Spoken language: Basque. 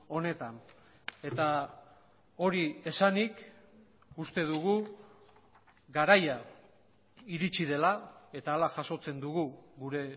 honetan eta hori esanik uste dugu garaia iritsi dela eta hala jasotzen dugu gure